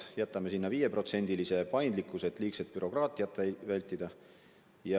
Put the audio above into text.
Me jätame sinna nn 5%-lise paindlikkuse, et liigset bürokraatiat vältida.